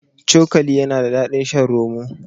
Cokali yana da daɗin shan roma.